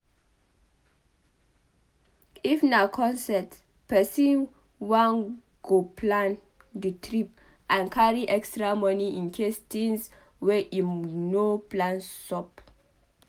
if na concert person wan goplan di trip and carry extra money incase thins wey im no plan sup